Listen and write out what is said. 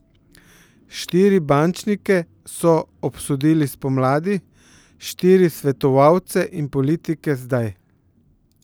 Štiri bančnike so obsodili spomladi, štiri svetovalce in politike zdaj.